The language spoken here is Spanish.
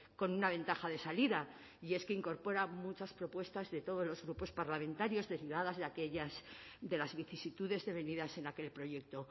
con una ventaja de salida y es que incorpora muchas propuestas de todos los grupos parlamentarios derivadas de aquellas de las vicisitudes devenidas en aquel proyecto